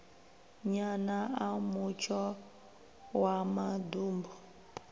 nyana a mutsho wa maḓumbu